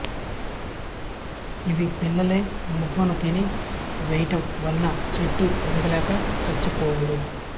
ఇవి పిల్లలై మొవ్వను తిని వేయుట వలన చెట్టు ఎదుగు లేక చచ్చి పోవును